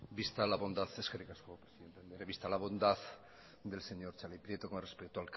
eskerrik asko presidente andrea visto la bondad del señor txarli prieto con respecto